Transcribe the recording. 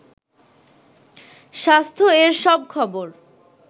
স্বাস্থ্য-এর সব খবর